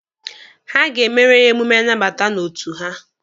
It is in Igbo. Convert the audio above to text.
Ha ga-emere ya emume nnabata n'otu ha.